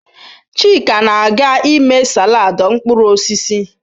Chika na-aga ime salad mkpụrụ osisi